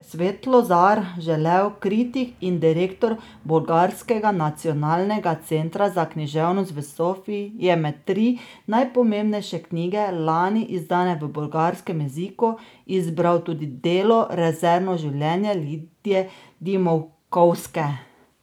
Svetlozar Želev, kritik in direktor bolgarskega nacionalnega centra za književnost v Sofiji, je med tri najpomembnejše knjige, lani izdane v bolgarskem jeziku, izbral tudi delo Rezervno življenje Lidije Dimkovske.